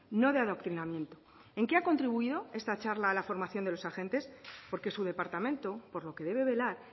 no de adoctrinamiento en qué ha contribuido esta charla a la formación de los agentes porque su departamento por lo que debe velar